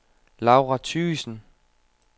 Laura Thygesen